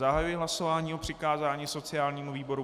Zahajuji hlasování o přikázání sociálnímu výboru.